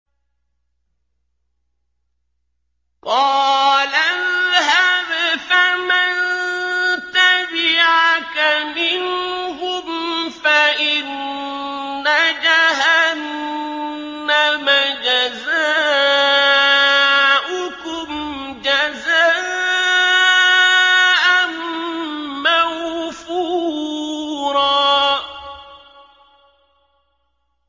قَالَ اذْهَبْ فَمَن تَبِعَكَ مِنْهُمْ فَإِنَّ جَهَنَّمَ جَزَاؤُكُمْ جَزَاءً مَّوْفُورًا